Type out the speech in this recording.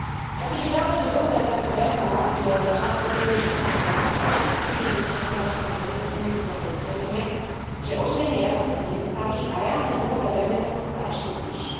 Aj keď je pravda, že dlhové bremeno je často príliš vysoké, reštriktívnymi hospodárskymi politikami skôr docielime, že oživenie rastu sa nedostaví a reálne dlhové bremeno sa ešte zvýši.